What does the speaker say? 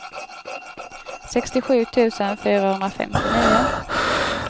sextiosju tusen fyrahundrafemtionio